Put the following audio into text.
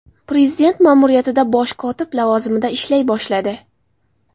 Prezident ma’muriyatida bosh kotib lavozimida ishlay boshladi.